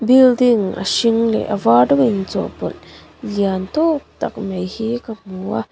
building a hring leh a var rawng in chawh pawlh lian tawk tak mai hi ka hmu a.